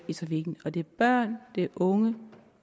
i trafikken og det er børn det er unge